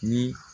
Ni